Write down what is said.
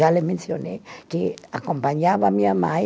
Já lhe mencionei que acompanhava a minha mãe